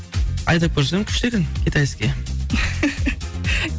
айдап көрсем күшті екен китайский